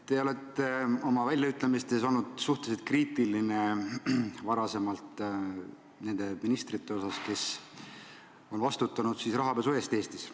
Te olete oma väljaütlemistes olnud suhteliselt kriitiline nende ministrite suhtes, kes on vastutanud rahapesu eest Eestis.